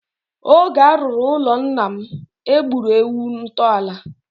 Oge a rụrụ ụlọ nna m, e gburu ewu ntọala.